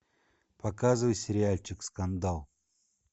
показывай сериальчик скандал